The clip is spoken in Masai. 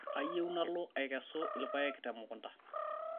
kayieu nalo aikesu ilpayek te emukunda